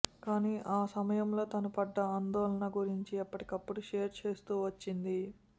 కాని ఆ సమయంలో తాను పడ్డ ఆందోళన గురించి ఎప్పటికప్పుడు షేర్ చేస్తూ వచ్చింది